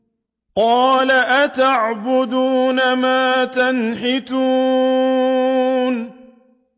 قَالَ أَتَعْبُدُونَ مَا تَنْحِتُونَ